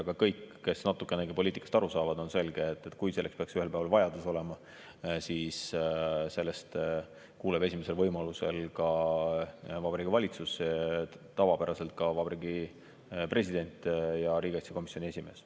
Aga kõigile, kes natukenegi poliitikast aru saavad, on selge, et kui selleks peaks ühel päeval vajadus olema, siis sellest kuuleb esimesel võimalusel Vabariigi Valitsus, tavapäraselt ka Vabariigi President ja riigikaitsekomisjoni esimees.